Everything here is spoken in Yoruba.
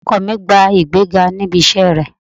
Ọkọ mi gba ìgbéga níbi iṣẹ́ rẹ̀